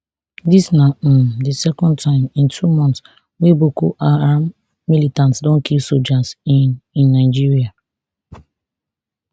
dis na um di second time in two months wey boko haram militants don kill sojas in in nigeria